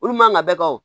Olu man kan ka bɛɛ kan o